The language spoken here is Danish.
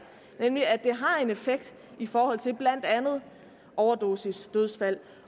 nemlig at det har en effekt i forhold til blandt andet overdosisdødsfald